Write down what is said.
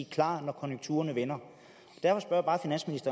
klar når konjunkturerne vender